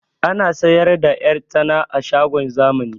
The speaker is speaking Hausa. Ana siyar da 'yan tsana a shagon zamani